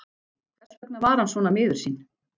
Hvers vegna var hann svona miður sín?